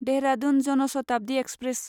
Dehradun Jan Shatabdi express